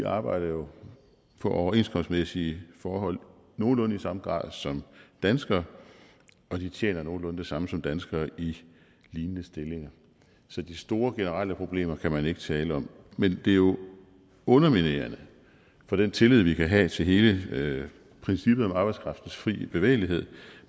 arbejder jo på overenskomstmæssige forhold nogenlunde i samme grad som danskere og de tjener nogenlunde det samme som danskere i lignende stillinger så de store generelle problemer kan man ikke tale om men det er jo underminerende for den tillid vi kan have til hele princippet om arbejdskraftens frie bevægelighed